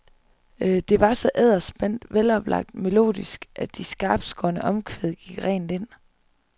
Det var så edderspændt, veloplagt melodisk, at de skarptskårne omkvæd gik rent ind.